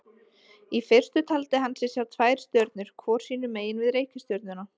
Í fyrstu taldi hann sig sjá tvær stjörnur hvor sínu megin við reikistjörnuna.